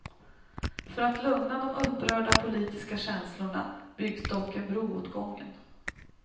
För att lugna de upprörda politiska känslorna byggs dock en bro åt gången.